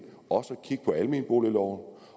også til kigge på almenboligloven